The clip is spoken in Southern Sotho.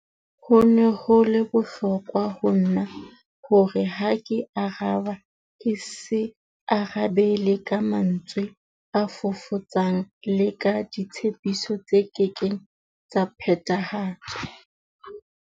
Ho ne ho le bohlokwa ho nna hore ha ke araba ke se arabele ka mantswe a fofotsang le ka ditshepiso tse kekeng tsa phethahatswa.